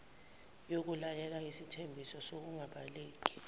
yokulalela isithembiso sokungabaleki